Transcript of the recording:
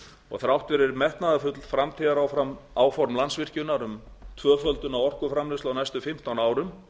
og þrátt fyrir metnaðarfull framtíðaráform landsvirkjunar um tvöföldun á orkuframleiðslu á næstu fimmtán árum